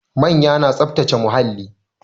Manya na tsaftace muhalli